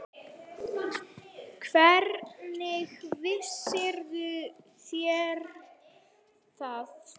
Hvernig vissuð þér það?